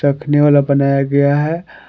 रखने वाला बनाया गया है।